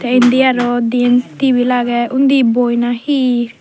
te indi araw diyen tibil aage undi boi na hi.